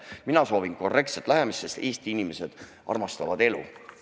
Mina soovin korrektset lähenemist, sest Eesti inimesed armastavad elu.